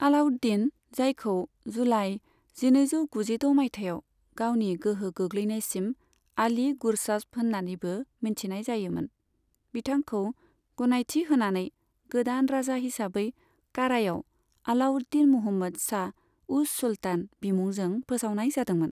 आलाउद्दीन, जायखौ जुलाई जिनैजौ गुजिद' मायथाइयाव गावनि गोहो गोग्लैनायसिम आली गुरशास्प होन्नानैबो मिथिनाय जायोमोन, बिथांखौ गनायथि होनानै गोदान राजा हिसाबै कारायाव आलाउद्दीन मुहम्मद शाह उस सुल्तान बिमुंजों फोसावनाय जादोंमोन।